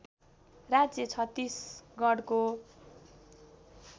राज्य छत्तिसगढको